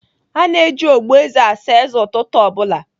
A na-eji ogboeze asa eze ụtụtụ ọ bụla.